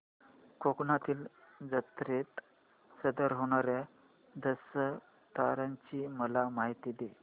कोकणातील जत्रेत सादर होणार्या दशावताराची मला माहिती दे